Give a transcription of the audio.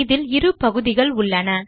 இதில் இரு பகுதிகள் உள்ளன